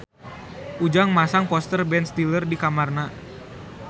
Ujang masang poster Ben Stiller di kamarna